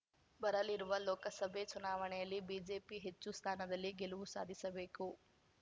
ಬರಲಿರುವ ಲೋಕಸಭೆ ಚುನಾವಣೆಯಲ್ಲಿ ಬಿಜೆಪಿ ಹೆಚ್ಚು ಸ್ಥಾನದಲ್ಲಿ ಗೆಲುವು ಸಾಧಿಸಬೇಕು